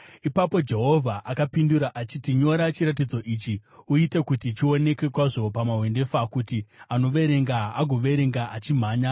Ipapo Jehovha akapindura achiti: “Nyora chiratidzo ichi, uite kuti chionekwe kwazvo pamahwendefa kuti anoverenga agoverenga achimhanya.